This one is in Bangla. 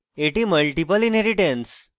এটি multiple inheritance